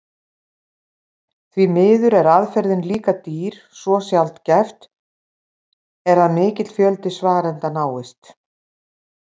Því miður er aðferðin líka dýr svo sjaldgæft er að mikill fjöldi svarenda náist.